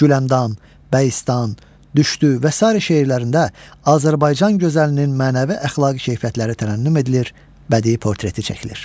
Güləndam, Bəyistan, Düşdü və sair şeirlərində Azərbaycan gözəlinin mənəvi-əxlaqi keyfiyyətləri tərənnüm edilir, bədii portreti çəkilir.